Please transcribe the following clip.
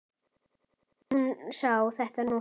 Hún sá þetta nú samt.